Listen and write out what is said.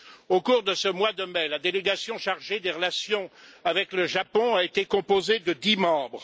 Au cours de ce mois de mai, la délégation chargée des relations avec le Japon était composée de dix membres.